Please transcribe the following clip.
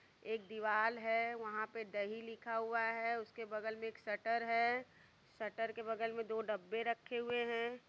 एक दीवाल है। वहाँ पे दही लिखा हुआ है उसके बगल में एक शटर है शटर के बगल में दो डब्बे रखे हुए हैं।